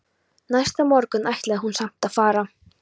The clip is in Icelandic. Næsta morgun ætlaði hún samt að fara.